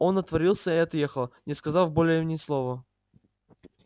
он отворотился и отъехал не сказав более ни слова